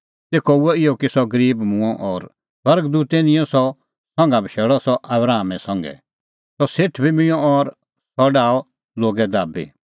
तेखअ हुअ इहअ कि सह गरीब मूंअ और स्वर्ग दूतै निंयं सह संघा बशैल़अ सह आबरामा संघै सह सेठ बी मूंअ और सह डाहअ लोगै दाबी